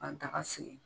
Ka daga sigi